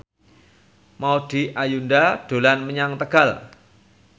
Maudy Ayunda dolan menyang Tegal